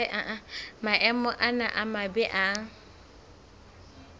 maemo ana a mabe a